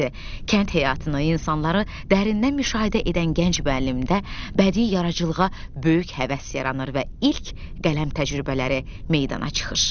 Kənd həyatını, insanları dərindən müşahidə edən gənc müəllimdə bədii yaradıcılığa böyük həvəs yaranır və ilk qələm təcrübələri meydana çıxır.